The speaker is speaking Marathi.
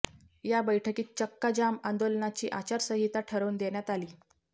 या बैठकीत चक्काजाम आंदोलनाची आचारसंहिता ठरवून देण्यात आली